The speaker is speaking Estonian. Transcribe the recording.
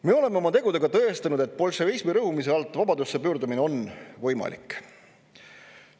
Me oleme oma tegudega tõestanud, et bolševismi rõhumise alt vabadusse pöördumine on võimalik.